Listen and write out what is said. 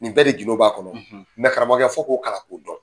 N bɛɛ de gindo b'a kɔnɔ. karamɔgɔkɛ fɔ k'o kalan k'o dɔn.